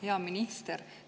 Hea minister!